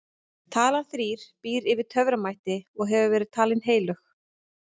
talan þrír býr yfir töframætti og hefur verið talin heilög